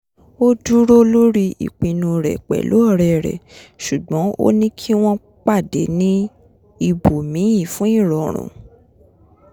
ó dúró lórí ìpinnu rẹ̀ pẹ̀lú ọ̀rẹ́ rè ṣugbọ́n ó ní kí wọ́n pàdé ní íbòmíì fún ìrọrùn